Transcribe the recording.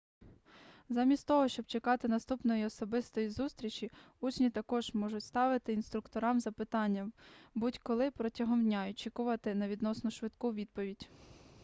замість того щоб чекати наступної особистої зустрічі учні також можуть ставити інструкторам запитання будь-коли протягом дня і очікувати на відносно швидку відповідь